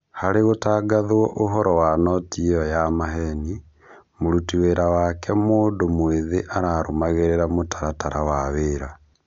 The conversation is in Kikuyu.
Harĩ gũtangathwo ũhoro wa noti ĩyo ya maheeni, mũrutĩ wĩra wake mũndũ mwĩthĩ ararũmagĩrĩra mũtaratara wa wĩra